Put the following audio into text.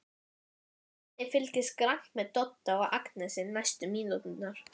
Svenni fylgist grannt með Dodda og Agnesi næstu mínúturnar.